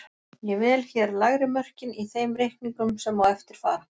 Ég vel hér lægri mörkin í þeim reikningum sem á eftir fara.